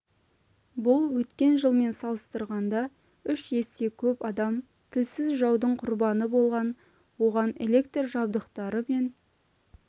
бұл өткен жылмен салыстырғанда үш есе көп адам тілсіз жаудың құрбаны болған оған электр жабдықтары мен